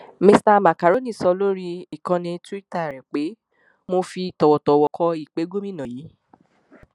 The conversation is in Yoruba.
mista makrónì sọ lórí ìkànnì túìta rẹ pé mo fi tọwọtọwọ kọ ìpè gómìnà yìí